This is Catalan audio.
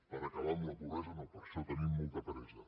per acabar amb la pobresa no per a això tenim molta pressa